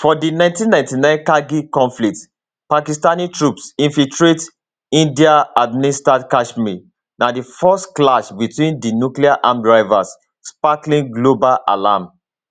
for di 1999 kargil conflict pakistani troops infiltrate indianadministered kashmir na di first clash betwin di nucleararmed rivals sparking global alarm